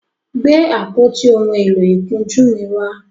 Gbe àpótí òún èló ìkunjú mí wá!